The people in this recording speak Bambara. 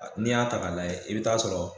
N'i y'a ta' ka layɛ e be t'a sɔrɔ